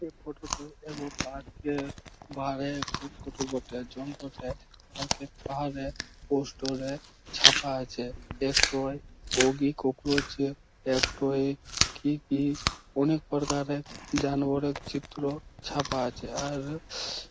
এই ফটো -টোয় এবং পার্ক -এর ধারে এক ফটো বটে । বটে পার্ক -এর ধারে পোস্টোরে -এ ছাপা আছে। ধারে একটোই অগি ককরোচ একটোই কি কি অনেক প্রকারের জানোয়ারের চিত্র ছাপা আছে। আর--